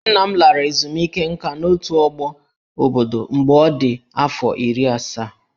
Nna m lara ezumike nká n'otù ọgbọ obodo mgbe ọ dị afọ iri asaa